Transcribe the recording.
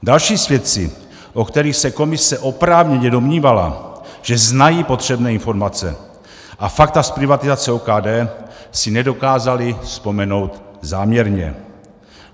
Další svědci, o kterých se komise oprávněně domnívala, že znají potřebné informace a fakta z privatizace OKD, si nedokázali vzpomenout záměrně.